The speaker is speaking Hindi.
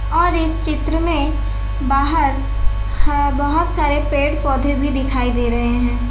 और इस चित्र में बाहर बोहोत सारे पेड़-पौधे भी दिखाई दे रहे हैं।